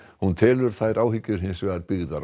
hún telur þær áhyggjur hins vegar byggðar á